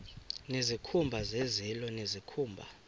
nezikhumba zezilo nezikhumba